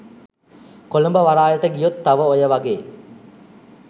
කොළඹ වරායට ගියොත් තව ඔය වගේ